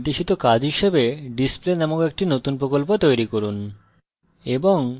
এই tutorial নির্দেশিত কাজ হিসাবে display নামক একটি নতুন প্রকল্প তৈরি করুন